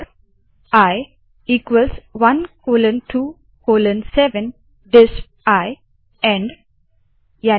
four i 127 डिस्प इंड जैसे ही हम लूप से जाते है यह कोड आई प्रिंट करेगा